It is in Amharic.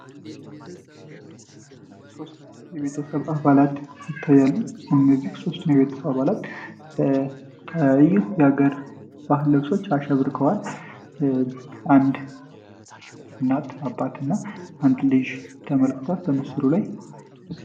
ሶስት የቤተሰብ አባላት እነዚህ ሦስተኛ አባትና በምስሩ ላይ